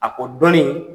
A ko dɔnni